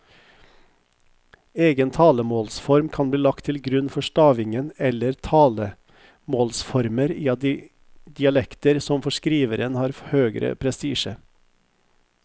Egen talemålsform kan bli lagt til grunn for stavingen eller talemålsformer i dialekter som for skriveren har høgere prestisje.